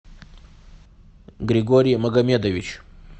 григорий магомедович